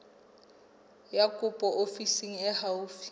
ya kopo ofising e haufi